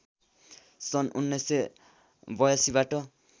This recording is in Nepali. सन् १९८२ बाट